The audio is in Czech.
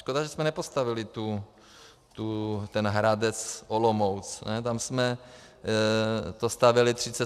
Škoda, že jsme nepostavili ten Hradec - Olomouc, tam jsme to stavěli 37 let.